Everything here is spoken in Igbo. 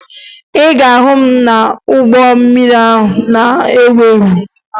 Ị ga-ahụ m n'ụgbọ mmiri ahụ na-ewu ewu